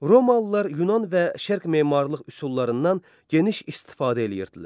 Romalılar yunan və şərq memarlıq üsullarından geniş istifadə edirdilər.